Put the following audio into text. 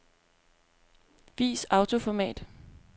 Vis autoformat.